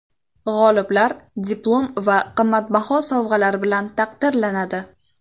G‘oliblar diplom va qimmatbaho sovg‘alar bilan taqdirlanadi.